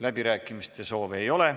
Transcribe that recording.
Läbirääkimiste soovi ei ole.